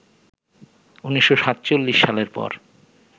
১৯৪৭ সালের পর